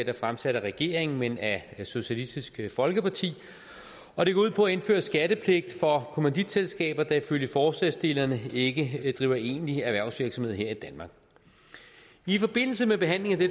er fremsat af regeringen men af socialistisk folkeparti og det går ud på at indføre skattepligt for kommanditselskaber der ifølge forslagsstillerne ikke driver egentlig erhvervsvirksomhed her i danmark i forbindelse med behandlingen af